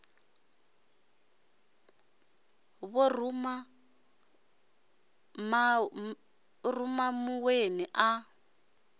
ḓo ruma ṱuwani a ḓa